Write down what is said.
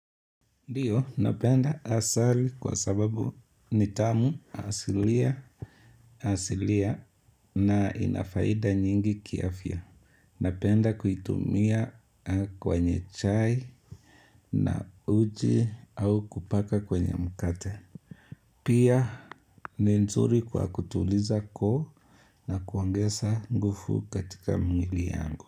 Ndio, napenda asali kwa sababu nitamu asilua asilia na ina faida nyingi kiafya. Napenda kuitumia kwenye chai na uji au kupaka kwenye mkate. Pia, ni nzuri kwa kutuliza koo na kuangesa ngufu katika mwili yangu.